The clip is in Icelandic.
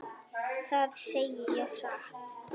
Það segi ég satt.